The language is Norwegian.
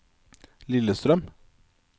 Lillestrøm